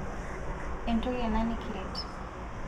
entoki ena nikiret